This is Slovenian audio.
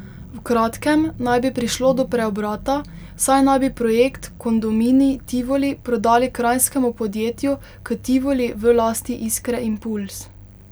V kratkem naj bi prišlo do preobrata, saj naj bi projekt Kondominij Tivoli prodali kranjskemu podjetju K Tivoli v lasti Iskre impuls.